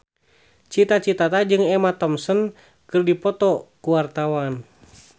Cita Citata jeung Emma Thompson keur dipoto ku wartawan